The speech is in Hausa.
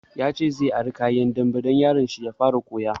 Ya ce zai ara kayan dambe gobe don yaron shi ya fara koya